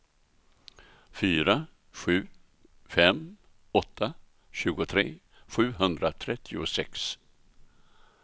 fyra sju fem åtta tjugotre sjuhundratrettiosex